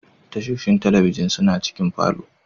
Tashoshin talabijin suna cikin falo.